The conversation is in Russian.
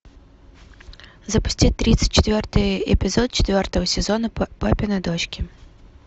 запусти тридцать четвертый эпизод четвертого сезона папины дочки